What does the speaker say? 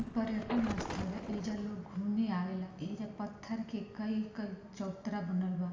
ई पर्यटन स्थल है एजा लोग घूमे आवेला एजा पत्थर के कई-कई चबूतरा बनल बा।